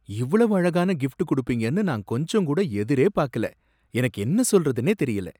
இவ்வளவு அழகான கிஃப்ட் குடுப்பீங்கன்னு நான் கொஞ்சம்கூட எதிரேபாக்கல, எனக்கு என்ன சொல்றதுன்னே தெரியல!